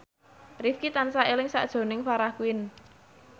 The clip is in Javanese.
Rifqi tansah eling sakjroning Farah Quinn